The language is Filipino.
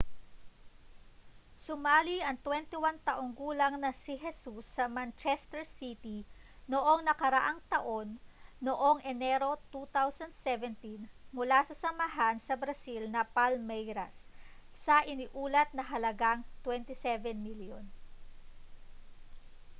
sumali ang 21 taong gulang na si jesus sa manchester city noong nakaraang taon noong enero 2017 mula sa samahan sa brazil na palmeiras sa iniulat na halagang â£27 milyon